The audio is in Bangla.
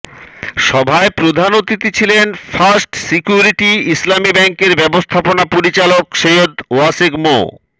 সভায় প্রধান অতিথি ছিলেন ফার্স্ট সিকিউরিটি ইসলামী ব্যাংকের ব্যবস্থাপনা পরিচালক সৈয়দ ওয়াসেক মো